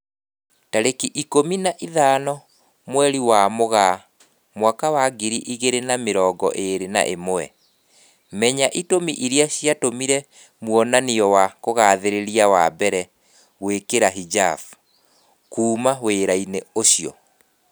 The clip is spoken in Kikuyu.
Tarĩki ikũmi na ithano mweri wa Mũgaa mwaka wa ngiri igĩri na mĩrongo ĩri na ĩmwe, Menya itũmi irĩa ciatumire mwonania wa kugathĩrĩria wa mbere gwĩkĩra hijab "kuma wĩra-inĩ ucio"